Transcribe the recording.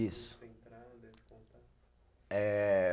Isso. Eh